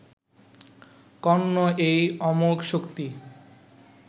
কর্ণ এই অমোঘ শক্তি